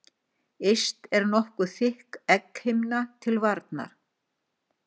Yst er nokkuð þykk egghimna til varnar.